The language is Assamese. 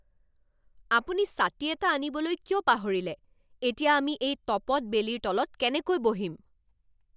আপুনি ছাতি এটা আনিবলৈ কিয় পাহৰিলে? এতিয়া আমি এই তপত বেলিৰ তলত কেনেকৈ বহিম?